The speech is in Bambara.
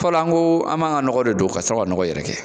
Fɔlɔ an ko an b'an ka nɔgɔ de don ka sɔrɔ ka nɔgɔ yɛrɛkɛ